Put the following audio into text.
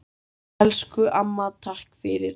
Elsku amma, takk fyrir allt!